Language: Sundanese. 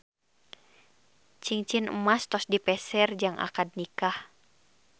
Cingcin emas tos dipeser jang akad nikah